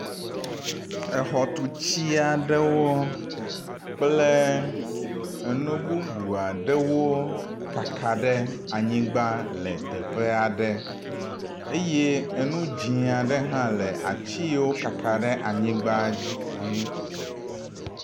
Exɔtuti aɖewo kple enu bubu aɖewo kaka ɖe anyigba le teƒea ɖe eye enu dzɛ̃ aɖe hã le ati yiwo kaka ɖe anyigba dzi.